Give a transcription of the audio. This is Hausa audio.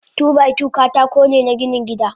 Two by two katakone na ginin gida.